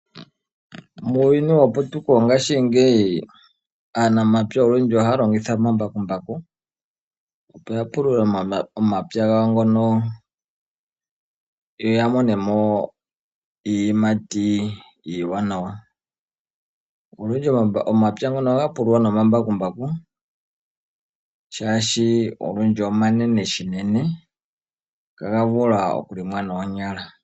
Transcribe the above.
Muuyuni weputuko ngashingeyi aanamapya ohaya longitha omambakumbaku, opo yapulule omapya gawo yoya monemo iiyimati iiwanawa. Olundji omapya ngono gapululwa nomambakumbaku shaashi omanene shinene itaga vulu okulongwa noonyala.